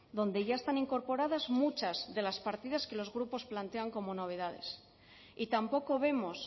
donde ya están incorporadas muchas de las partidas que los grupos plantean como novedades y tampoco vemos